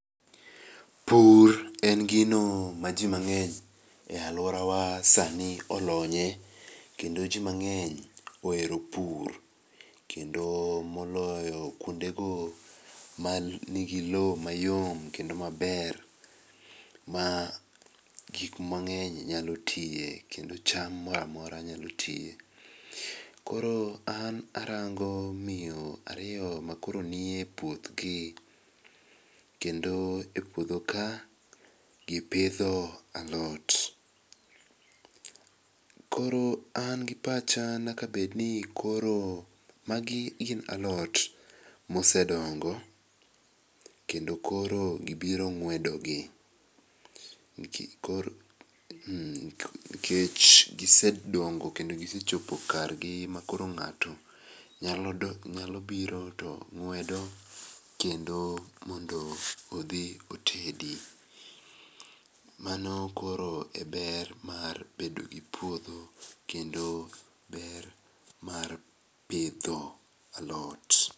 Pur en gino ma jii mang'eny e aluorawa sani olonye, kendo jii mang'eny ohero pur, kendo moloyo kuonde go manigi loo mayom kendo maber magik mang'eny nyalo tie kendo cham moramora nyalo tie. Koro an arango miyo ariyo makoro nie puothgi, kendo epuodho ka gipidho alot. Koro an gi pacha nyakabedni koro magi gin alot mosedongo kendo koro gibiro ng'wedogi, nikech gisedongo kendo gisechopo kargi makolo ng'ato nyalo biro tong'wedo kendo mondo odhi otedi. Mano koro e ber mar bedogi puodho, kendo ber mar pidho alot.